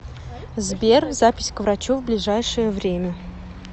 сбер запись к врачу в ближайшее время